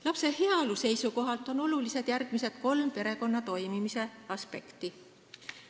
Lapse heaolu seisukohalt on olulised järgmised kolm perekonna toimimise aspekti.